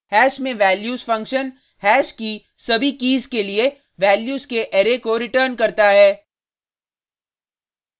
hash में values function hash की सभी कीज़ के लिए वैल्यूज़ के अरै को रिटर्न्स करता है